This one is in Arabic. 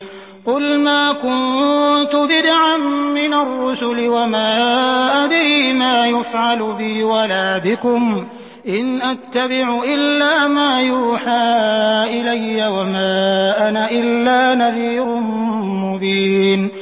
قُلْ مَا كُنتُ بِدْعًا مِّنَ الرُّسُلِ وَمَا أَدْرِي مَا يُفْعَلُ بِي وَلَا بِكُمْ ۖ إِنْ أَتَّبِعُ إِلَّا مَا يُوحَىٰ إِلَيَّ وَمَا أَنَا إِلَّا نَذِيرٌ مُّبِينٌ